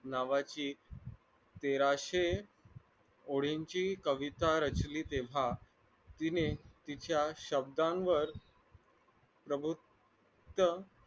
नावाची तेराशे ओळीची कविता रचली तेव्हा तिने तिच्या शब्दांवर